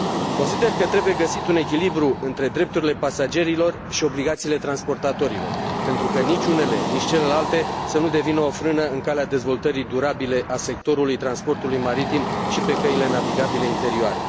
Consider că trebuie găsit un echilibru între drepturile pasagerilor și obligațiile transportatorilor, pentru ca nici unele, nici celelalte să nu devină o frână în calea dezvoltării durabile a sectorului transportului maritim și pe căile navigabile interioare.